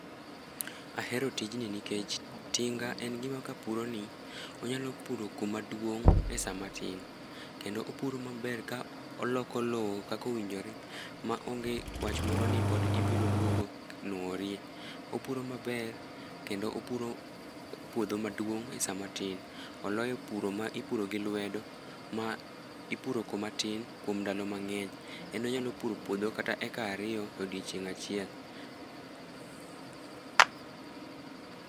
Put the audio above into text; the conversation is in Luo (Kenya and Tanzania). Ahero tijni nikech tinga en gima kapuroni, onyalo puso kuma duong' e samatin, kendo opuro maber ka oloko lowo kaka owinjore ma onge wach moro ni pod ibiro duogo nworiye. Opuro maber kendo opuro puodho maduong' e sama tin. Oloyo puro ma ipuro gi lwedo ma ipuro kuma tin kuom ndalo mang'eny. En onyalo puro puodho kata acre ariyo odiochieng' achiel.